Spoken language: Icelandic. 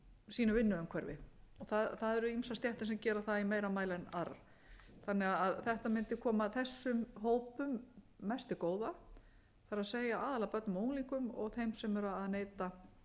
sínu vinnuumhverfi það eru ýmsar stéttir sem gera það í meira mæli en aðrar þannig að þetta mundi koma þessum hópum mest til góða það er aðallega börnum og unglingum og þeim sem eru að neyta